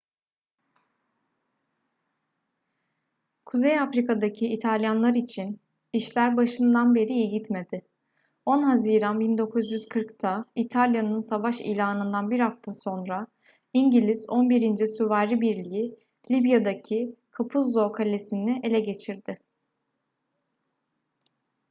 kuzey afrika'daki i̇talyanlar için işler başından beri iyi gitmedi. 10 haziran 1940'ta i̇talya'nın savaş ilanından bir hafta sonra i̇ngiliz 11. süvari birliği libya'daki capuzzo kalesi'ni ele geçirdi